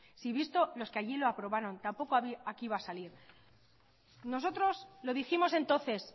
si visto los que allí lo aprobaron tampoco aquí iba a salir nosotros lo dijimos entonces